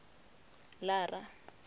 lara